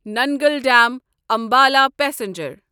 Nangal dam Ambala passenger